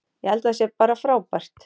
Ég held að það sé bara frábært.